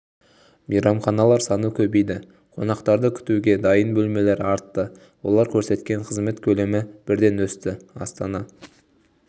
мейрамханалар саны көбейді қонақтарды күтуге дайын бөлмелер артты олар көрсеткен қызмет көлемі бірден өсті астана